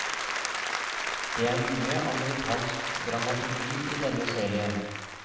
Det er mye amerikansk dramaturgi i denne serien.